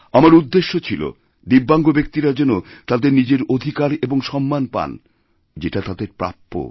আমার উদ্দেশ্য ছিল দিব্যাঙ্গ ব্যক্তিরা যেন তাঁদেরনিজের অধিকার এবং সম্মান পান যেটা তাদের প্রাপ্য